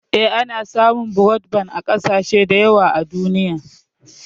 Eh, ana samun brodban a ƙasashe da yawa a duniya.